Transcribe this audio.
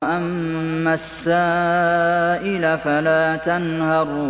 وَأَمَّا السَّائِلَ فَلَا تَنْهَرْ